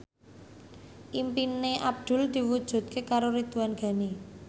impine Abdul diwujudke karo Ridwan Ghani